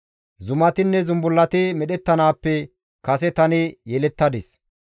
Zumatinne zumbullati medhettanaappe kase tani yelettadis.